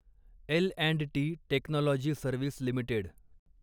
L and T technology service limited